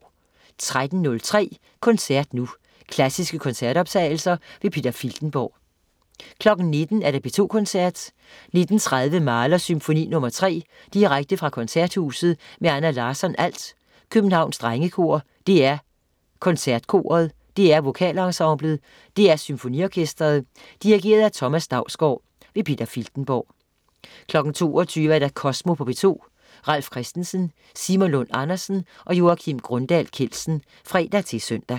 13.03 Koncert nu. Klassiske koncertoptagelser. Peter Filtenborg 19.00 P2 Koncerten. 19.30 Mahlers Symfoni nr. 3. direkte fra Koncerthuset med Anna Larsson, alt, Københavns Drengekor, DR KoncertKoret, DR VokalEnsemblet. DR SymfoniOrkestret. Dirigent: Thomas Dausgaard. Peter Filtenborg 22.00 Kosmo på P2. Ralf Christensen, Simon Lund Andersen og Joakim Grundahl Kjeldsen (fre-søn)